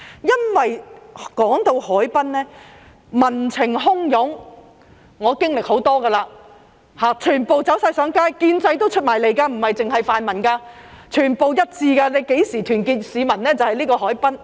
因為談到海濱，便會民情洶湧，我已經歷過很多次，全部走上街，建制派也走出來，不只是泛民，全部一致，何時能夠團結市民，就是牽涉到海濱的時候。